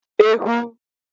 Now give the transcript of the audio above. Ehu